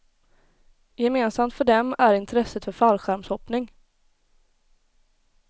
Gemensamt för dem är intresset för fallskärmshoppning.